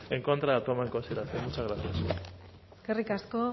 en contra de la toma en consideración muchas gracias eskerrik asko